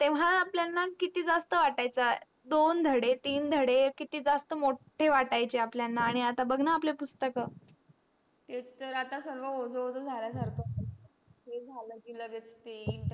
तेव्हा आपल्यांना किती जास्त वाटायचं दोन धडे तीन धडे किती जास्त मोठे वाटायचा आपल्यांना आनी आपले पुसतक तेच तर आता सर्व ओझ ओझ झाल्या सारख वाटे लगेच.